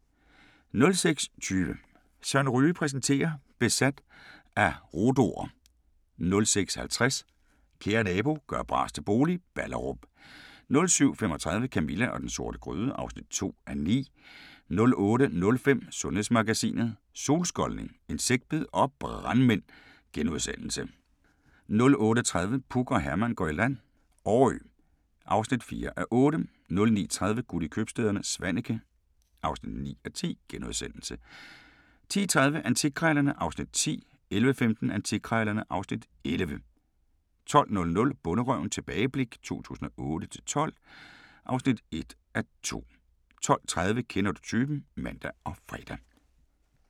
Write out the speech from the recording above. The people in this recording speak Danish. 06:20: Søren Ryge præsenterer: Besat af rhodo'er 06:50: Kære nabo – gør bras til bolig – Ballerup 07:35: Camilla og den sorte gryde (2:9) 08:05: Sundhedsmagasinet: Solskoldning, insektbid og brandmænd * 08:30: Puk og Herman går i land - Årø (4:8) 09:30: Guld i købstæderne - Svaneke (9:10)* 10:30: Antikkrejlerne (Afs. 10) 11:15: Antikkrejlerne (Afs. 11) 12:00: Bonderøven – tilbageblik 2008-2012 (1:2) 12:30: Kender du typen? (man og fre)